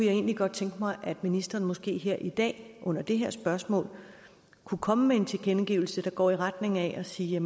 egentlig godt tænke mig at ministeren måske her i dag under det her spørgsmål kunne komme med en tilkendegivelse der går i retning af at sige